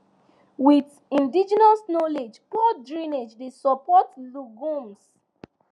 with indigenous knowledge poor drainage dey support legumes